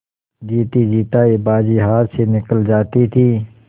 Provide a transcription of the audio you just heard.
जीतीजितायी बाजी हाथ से निकली जाती थी